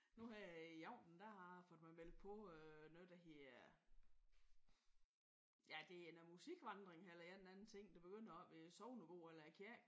Nu her i aften der har jeg fået mig meldt på øh noget der hedder ja det er noget musikvandring eller en eller anden ting. Det begynder oppe i sognebo eller i kirken